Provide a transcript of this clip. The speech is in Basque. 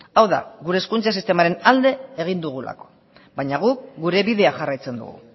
hau da gure hezkuntza sistemaren alde egin dugulako baina guk gure bidea jarraitzen dugu